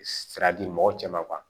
Sira di mɔgɔw cɛ ma